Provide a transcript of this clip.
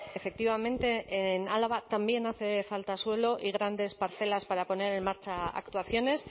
efectivamente en álava también hace falta suelo y grandes parcelas para poner en marcha actuaciones